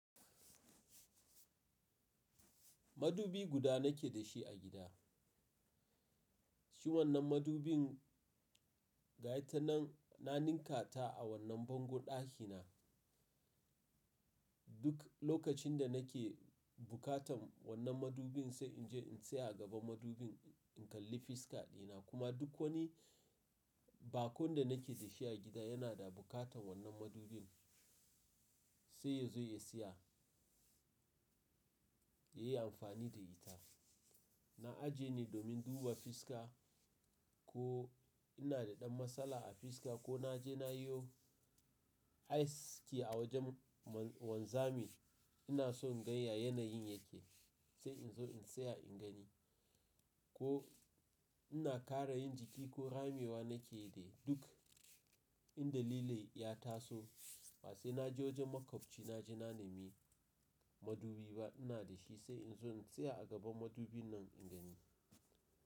Madubi guda nake da shi a gida, shi wannan madubin gaitanan na ninka ta a wannan bango ɗaki na. Duk lokacin da nake bukatan wannan madubin sai in je in tsaya a gaban madubin in kalli fiska dina. Kuma duk wani bakon da nake da shi a gida yana da bukatan wannan madubin sai ya zo ya siya yayi amfani da ita. Na aje ne domin duba fiska ko ina da ɗan matsala a fiska ko na je na yo aski a wajen wanzamin ina so in gan ya yanayin yake sai in zo in tsaya in gani. Ko ina kara yin jiki ko ramiwa nake da duk in dalilai ya taso wa sai na je wajen makwabcina na je na nemi madubi ba ina da shi sai in zo in tsaya a gaban madubin nan in gani.